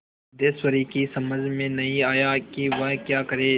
सिद्धेश्वरी की समझ में नहीं आया कि वह क्या करे